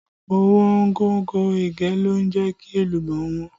Ọ̀wọ́ngógó ẹ̀gẹ́ ló jẹ́ kí èlùbọ́ ó wọ́n